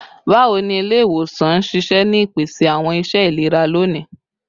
Bawo ni ile-iwosan n ṣiṣẹ ni ipese awọn iṣẹ ilera loni?